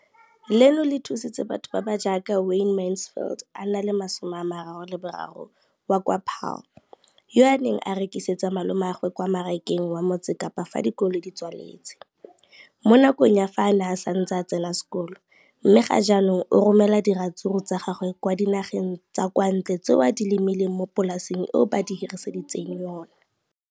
leno le thusitse batho ba ba jaaka Wayne Mansfield, 33, wa kwa Paarl, yo a neng a rekisetsa malomagwe kwa Marakeng wa Motsekapa fa dikolo di tswaletse, mo nakong ya fa a ne a santse a tsena sekolo, mme ga jaanong o romela diratsuru tsa gagwe kwa dinageng tsa kwa ntle tseo a di lemileng mo polaseng eo ba mo hiriseditseng yona.